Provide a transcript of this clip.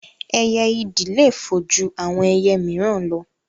Ẹyẹ ìdì le fò ju àwọn ẹyẹ míìràn lọ